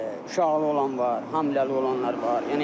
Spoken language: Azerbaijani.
Uşaqlı olan var, hamiləli olanlar var.